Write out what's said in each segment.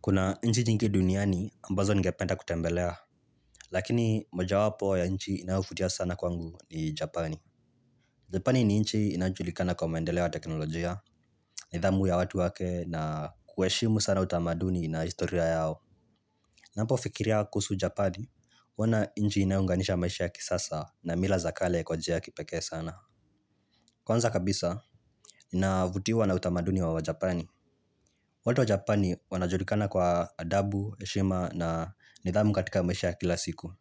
Kuna nchi nyingi duniani ambazo ningependa kutembelea, lakini mojawapo ya nchi inayovutia sana kwangu ni Japani. Japani ni nchi inayojulikana kwa maendeleo ya teknolojia, nidhamu ya watu wake na kuheshimu sana utamaduni na historia yao. Napofikiria kuhusu. Japani, huona nchi inayounganisha maisha ya kisasa na mila za kale kwa njia ya kipekee sana. Kwanza kabisa, navutiwa na utamaduni wa wajapani. Watu wa Japani wanajulikana kwa adabu, heshima na nidhamu katika maisha ya kila siku.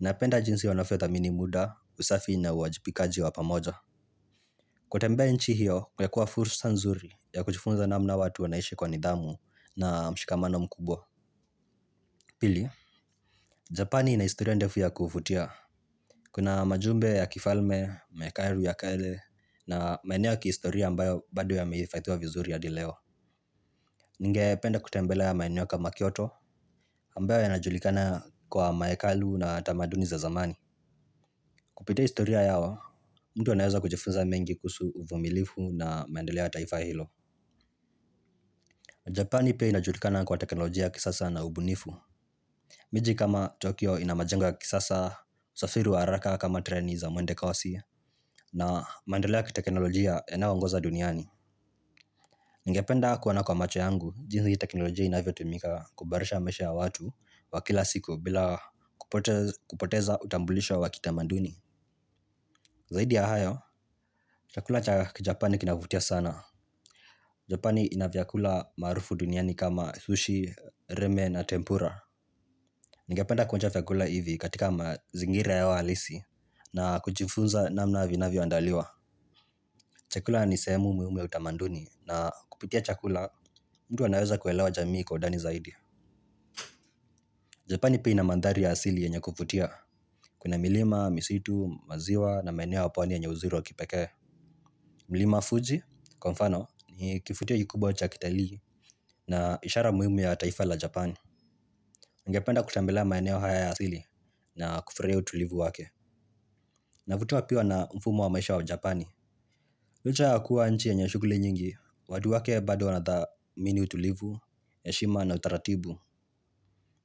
Napenda jinsi wanathamini muda, usafi na uwajibikaji wa pamoja. Kutembea nchi hiyo, ingekuwa fursa nzuri ya kujifunza namna watu wanaishi kwa nidhamu na mshikamano mkubwa. Pili, Japani ina historia ndefu ya kuvutia. Kuna majumbe ya kifalme, mehekalu ya kale, na maeneo ya kihistoria ambayo bado yamehifadhiwa vizuri hadi leo. Ningependa kutembelea maeneo kama Kyoto, ambayo yanajulikana kwa mahekalu na tamaduni za zamani. Kupitia historia yao, mtu anaweza kujifunza mengi kuhusu uvumilivu na maendeleo ya taifa hilo. Japani pia inajulikana kwa teknolojia ya kisasa na ubunifu. Miji kama Tokyo ina majengo ya kisasa, usafiri wa haraka kama treni za mwendo kasi na maendeleo ya kiteknolojia yanayoongoza duniani. Ningependa kuona kwa macho yangu, jinsi hii teknolojia inavyotumika kuboresha maisha ya watu wa kila siku bila kupoteza utambulisho wa kitamaduni. Zaidi ya hayo, chakula cha kijapani kinavutia sana. Japani ina vyakula maarufu duniani kama sushi, reme na tempura. Ningependa kuonja vyakula hivi katika mazingira yao halisi na kujifunza namna vinavyoandaliwa. Chakula ni sehemu muhimu ya utamaduni na kupitia chakula mtu anaweza kuelewa jamii kwa undani zaidi. Japani pia ina manthari ya asili yenye kuvutia. Kuna milima, misitu, maziwa na maeneo ya pwani yenye uzuri wa kipekee. Mlima Fuji, kwa mfano, ni kivutio kikubwa cha kitalii na ishara muhimu ya taifa la Japani. Ningependa kutembelea maeneo haya ya asili na kufurahia utulivu wake. Navutiwa pia na mfumo wa maisha wa japani. Licha ya kuwa nchi yenye shughuli nyingi, watu wake bado wanathamini utulivu, heshima na utaratibu.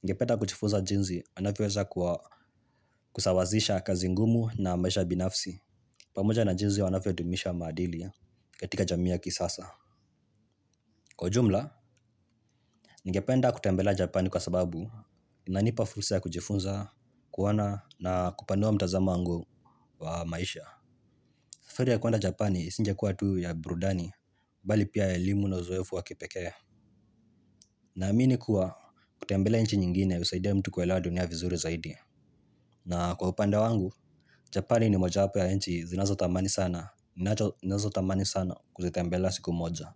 Ningependa kujifunza jinsi wanavyoweza kusawazisha kazi ngumu na maisha binafsi pamoja na jinsi wanavyodumisha maadili katika jamii ya kisasa. Kwa ujumla, ningependa kutembelea japani kwa sababu inanipa fursa ya kujifunza kuona na kupanua mtazamo wangu wa maisha. Safari ya kuenda japani isingekuwa tu ya burudani bali pia ya elimu na uzoefu wa kipekee. Naamini kuwa kutembelea nchi nyingine husaidia mtu kuelewa dunia vizuri zaidi. Na kwa upande wangu, Japani ni mojawapo ya nchi zinazotamani sana ninazotamani sana kuzitembelea siku moja.